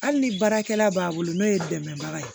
Hali ni baarakɛla b'a bolo n'o ye dɛmɛbaga ye